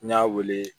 N y'a wele